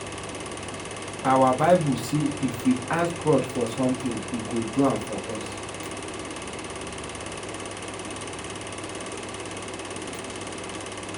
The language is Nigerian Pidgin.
Our bible say if we ask God for something he go do am for us